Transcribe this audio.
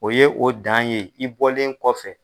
O ye o dan ye i bɔlen kɔfɛ.